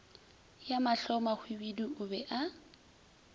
ya mahlomahwibidu o be a